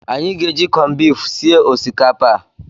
Anyị ga-eji kọnbifu sie osikapa a.